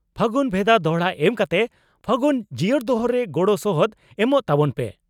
ᱯᱷᱟᱹᱜᱩᱱ ᱵᱷᱮᱫᱟ ᱫᱚᱦᱲᱟ ᱮᱢ ᱠᱟᱛᱮ ᱯᱷᱟᱹᱜᱩᱱ ᱡᱤᱭᱟᱹᱲ ᱫᱚᱦᱚ ᱨᱮ ᱜᱚᱲᱚ ᱥᱚᱦᱚᱫ ᱮᱢᱚᱜ ᱛᱟᱵᱚᱱ ᱯᱮ ᱾